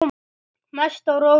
Mest á rósum.